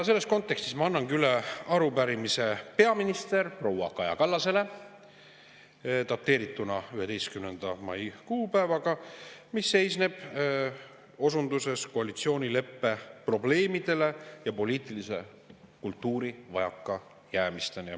Selles kontekstis ma annangi üle arupärimise peaminister proua Kaja Kallasele dateerituna 11. mai kuupäevaga, mis seisneb osunduses koalitsioonileppe probleemidele ja poliitilise kultuuri vajakajäämistele.